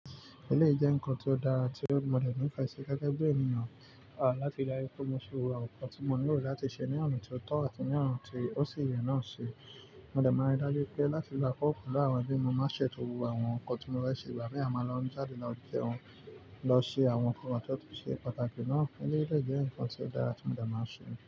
Eléyìí jẹ́ nǹkan tó dára tí mo dẹ̀ ní ìfẹ́ sí gẹ́gẹ́ bí ènìyàn, láti ri dájú pé mo ṣe awon nnkan tí mo nílò láti ṣe ní ọ̀na tí ó tó àti ní ọ̀na tí ó sì yẹ náà ṣe. Mo dẹ̀ máa ń dájú pé láti gbà kọ́ ọkàn lára bí mo máa ṣètò gbogbo àwọn nǹkan tí mo fẹ́ ṣe, ìgbà mì àmáa lọ jáde lọ jẹun, lọ ṣe àwọn nǹkan tí ó tún ṣe pàtàkì náà. Eléyìí dẹ̀ nǹkan tí ó dára tí mo dẹ̀ máa ń ṣe.